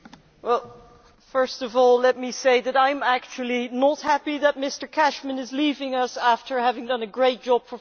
First of all, let me say that I am actually not happy that Mr Cashman is leaving us after having done a great job for 15 years.